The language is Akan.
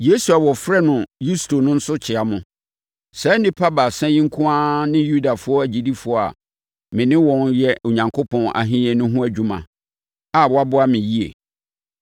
Yesu a wɔfrɛ no Yusto no nso kyea mo. Saa nnipa baasa yi nko ara ne Yudafoɔ agyidifoɔ a me ne wɔn reyɛ Onyankopɔn Ahennie no ho adwuma a wɔaboa me yie.